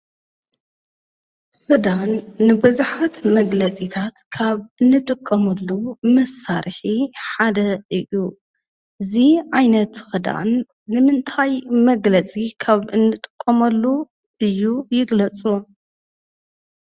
ክዳን ንቡዙሓት መግለፂታት ካብ እንጥቀመሉ መሳርሒ ሓደ እዩ፡፡ እዚ ዓይነት ክዳን ንምንታይ መግለፂ ከም እንጥቀመሉ እዩ ? ይግለፁ ?